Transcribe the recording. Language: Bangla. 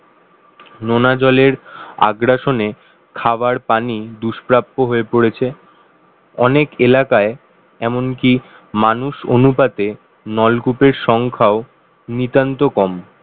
নোনা জলের আগ্রাসনে খাবার পানি দুষ্প্রাপ্য হয়ে পড়েছে অনেক এলাকায় এমনকি মানুষ অনুপাতে নলকূপের সংখ্যাও নিতান্ত কম